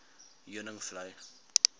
heuningvlei